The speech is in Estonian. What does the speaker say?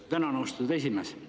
Tänan, austatud esimees!